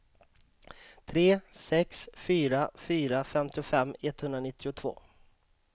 tre sex fyra fyra femtiofem etthundranittiotvå